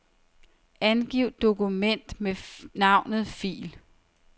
Navngiv dokument med navnet fil.